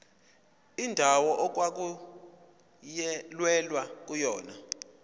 indawo okwakulwelwa kuyona